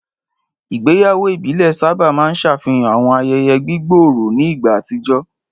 Ìgbéyàwó ìbílẹ̀ sábà máa ń ṣàfihàn àwọn ayẹyẹ gbígbòòrò ní ìgbà àtijọ́.